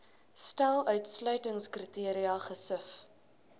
stel uitsluitingskriteria gesif